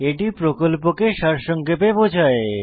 এটি প্রকল্পকে সারসংক্ষেপে বোঝায়